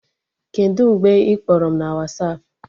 Kedụ mgbe ị kpọrọ m na Wasapụ?